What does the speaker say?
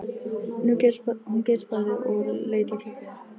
Hún geispaði og leit á klukkuna.